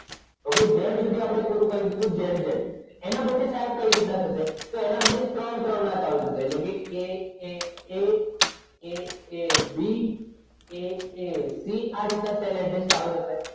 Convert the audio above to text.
okay z સુધી અપડે પૂરું કરી દીધું એના પછી ત્રણ ત્રણ ના ચાલુ થસે aaa aab aac આ રીત ના સેલ address ચાલુ થસે